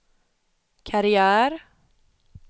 karriär